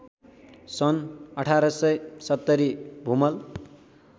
सन् १८७० भूमल